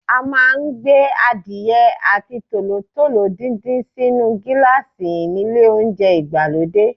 A máa ń gbé Adìyẹ àti tòlótòló díndín sínu gíláàsì nílé oúnjẹ ìgbàlódé.